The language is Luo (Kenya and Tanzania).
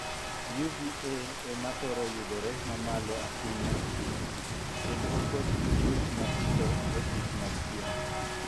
'UVA' ema thoro yudore mamalo ahinya e piny, kendo okoch gi chuech matindo mogik mag pien.